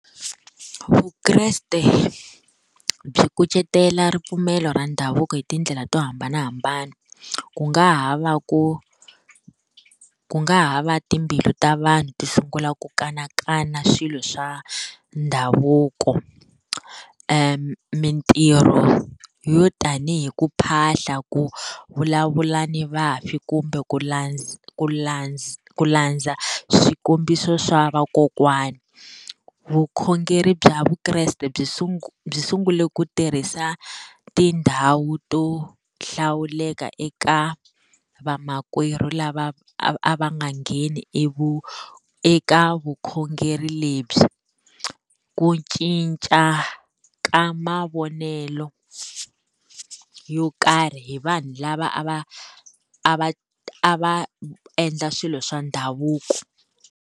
Vukreste byi kucetela ripfumelo ra ndhavuko hi tindlela to hambanahambana ku nga ha va ku ku nga ha va timbilu ta vanhu ti sungula ku kanakana swilo swa ndhavuko mintirho yo tanihi ku phahla, ku vulavula ni vafi kumbe ku ku ku landza swikombiso swa vakokwana. Vukhongeri bya Vukreste byi byi sungule ku tirhisa tindhawu to hlawuleka eka vamakwerhu lava a va nga ngheni eka vukhongeri lebyi, ku cinca ka mavonelo yo karhi hi vanhu lava a va a va a va endla swilo swa ndhavuko.